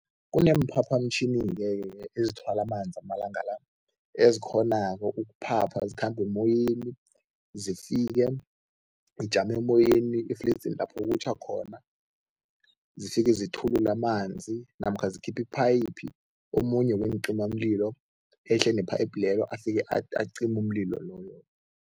Kuneemphaphamtjhini-ke ke ezithwala amanzi amalanga la, ezikghonako ukuphapha zikhambe emoyeni, zifike, ijame emoyeni efledzini lapho kutjha khona, zifike zithulule amanzi namkha zikhiphe iphayiphi, omunye weencimamlilo ehle ne-pipe lelo, afike acime umlilo loyo-ke.